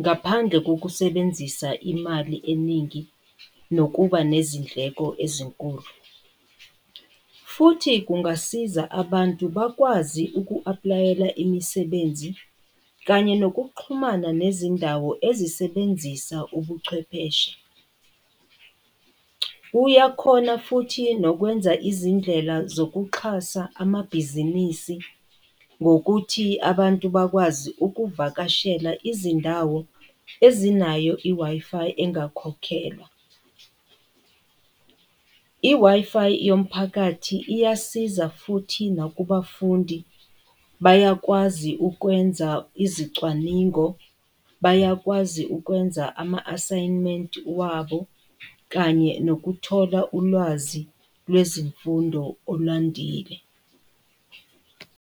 ngaphandle kokusebenzisa imali eningi, nokuba nezindleko ezinkulu. Futhi kungasiza abantu bakwazi uku-apulayela imisebenzi kanye nokuxhumana nezindawo ezisebenzisa ubuchwepheshe. Uyakhona futhi nokwenza izindlela zokuxhasa amabhizinisi ngokuthi abantu bakwazi ukuvakashela izindawo ezinayo i-Wi-Fi engakhokhelwa. I-Wi-Fi yomphakathi iyasiza futhi nakubafundi, bayakwazi ukwenza izicwaningo, bayakwazi ukwenza ama-asayimenti wabo kanye nokuthola ulwazi lwezifundo olwandile.